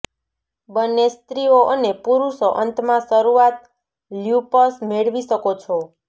બંને સ્ત્રીઓ અને પુરુષો અંતમાં શરૂઆત લ્યુપસ મેળવી શકો છો